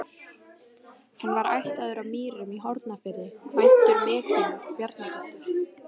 Hann var ættaður af Mýrum í Hornafirði, kvæntur Mekkínu Bjarnadóttur.